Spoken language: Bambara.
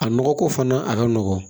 A nɔgɔko fana a ka nɔgɔn